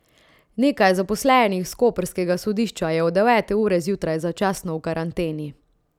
Nekaj zaposlenih s koprskega sodišča je od devete ure zjutraj začasno v karanteni.